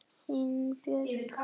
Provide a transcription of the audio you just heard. Þín Andrea Björk.